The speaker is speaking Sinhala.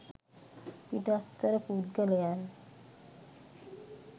පිටස්තර පුද්ගලයන්